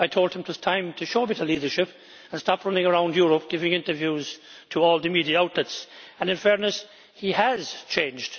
I told him it was time to show a bit of leadership and stop running around Europe, giving interviews to all the media outlets and, in fairness, he has changed.